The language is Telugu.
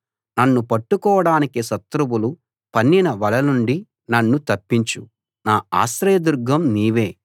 నన్ను పట్టుకోడానికి శత్రువులు రహస్యంగా పన్నిన వల నుండి నన్ను తప్పించు నా ఆశ్రయదుర్గం నీవే